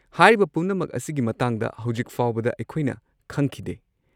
ꯍꯥꯏꯔꯤꯕ ꯄꯨꯝꯅꯃꯛ ꯑꯁꯤꯒꯤ ꯃꯇꯥꯡꯗ ꯍꯧꯖꯤꯛ ꯐꯥꯎꯕꯗ ꯑꯩꯈꯣꯏꯅ ꯈꯪꯈꯤꯗꯦ꯫